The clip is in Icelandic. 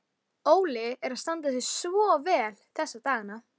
Óli er að standa sig svo vel þessa dagana.